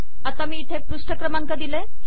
आता मी इथे पृष्ठ क्रमांक दिले